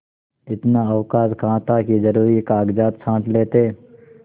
इतना अवकाश कहाँ था कि जरुरी कागजात छॉँट लेते